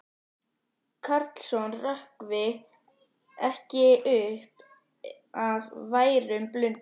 Karlsson hrökkvi ekki upp af værum blundi.